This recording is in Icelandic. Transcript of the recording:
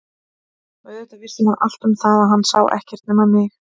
Og auðvitað vissi hún allt um það að hann sá ekkert nema mig.